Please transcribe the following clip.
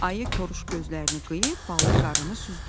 Ayı koruş gözlərini qıyıb ballı qarını süzdü.